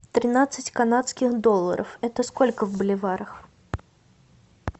тринадцать канадских долларов это сколько в боливарах